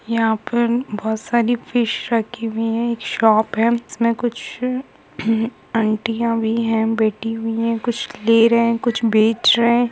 यहाँ पर बहुत सारी फिश राखी हुई है शॉप है जिसमें कुछ एम ह अंटीया भी है बेटी भी है कुछ ले रहे हैं कुछ बेच रहे हैं।